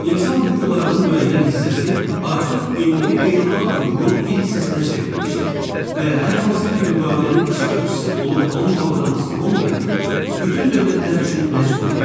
İnsan hüquqlarının müəyyən hissəsi artıq ümumi beynəlxalq hüququn bir hissəsinə çevrilmişdir və hər hansı bir müqavilənin iştirakçısı olub-olmamaqdan asılı olmayaraq, bütün dövlətlər üçün məcburidir.